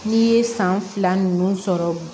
N'i ye san fila ninnu sɔrɔ